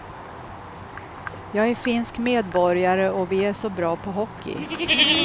Jag är finsk medborgare, och vi är så bra på hockey.